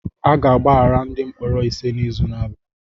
A ga-agbaghara ndị mkpọrọ ise n'izu na-abịa